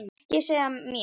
Ekki segja mér